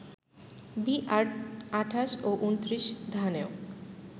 বিআর-২৮ ও ২৯ ধানেও